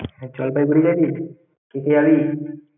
জলপাইগুড়ি যাবি? কে কে যাবি?